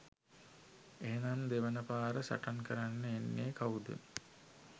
එහෙනම් දෙවෙනි පාර සටන් කරන්න එන්නෙ කවුද?